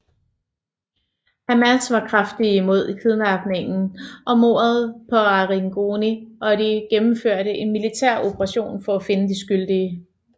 Hamas var kraftigt imod kidnappingen og mordet på Arrigoni og de gennemførte en militær operation for at finde de skyldige